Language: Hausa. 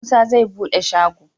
Musa zai bede shago